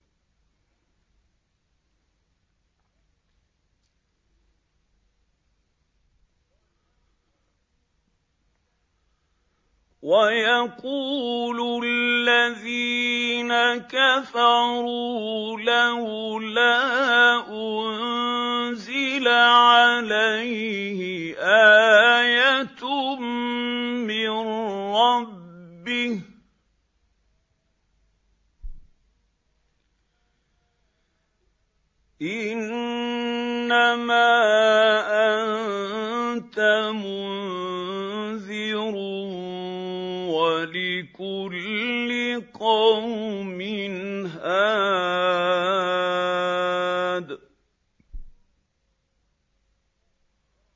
وَيَقُولُ الَّذِينَ كَفَرُوا لَوْلَا أُنزِلَ عَلَيْهِ آيَةٌ مِّن رَّبِّهِ ۗ إِنَّمَا أَنتَ مُنذِرٌ ۖ وَلِكُلِّ قَوْمٍ هَادٍ